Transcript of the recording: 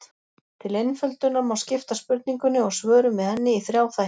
Til einföldunar má skipta spurningunni og svörum við henni í þrjá þætti.